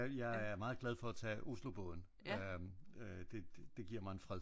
Ja jeg er meget glad for at tage Oslobåden det det giver mig en fred